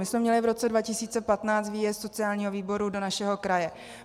My jsme měli v roce 2015 výjezd sociálního výboru do našeho kraje.